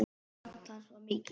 Og fall hans var mikið.